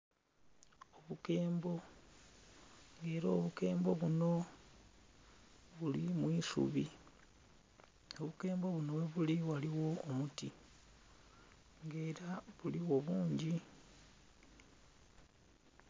Obukembo, nga era obukembo buno buli mu isubi, obukembo buno ghebuli ghaligho omuti nga era buligho bungi.